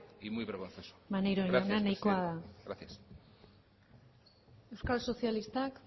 y muy vergonzoso gracias presidenta gracias eskerrik asko maneiro jauna euskal sozialistak